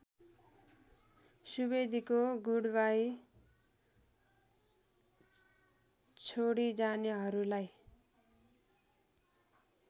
सुवेदीको goodbye छोडिजानेहरूलाई